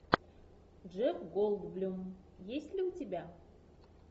джефф голдблюм есть ли у тебя